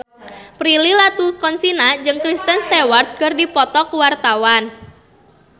Prilly Latuconsina jeung Kristen Stewart keur dipoto ku wartawan